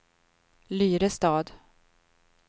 Lyrestad